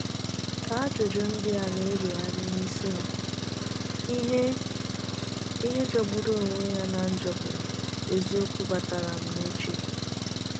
Ka ajụjụ ndị a na - erugharị n’isi m, ihe m, ihe jọgbụru onwe ya na njo bụ eziokwu batara m na uche.